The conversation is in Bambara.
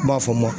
N b'a fɔ n ma